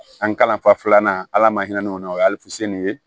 An kalanfa filanan ala ma hinɛ o la o ye ye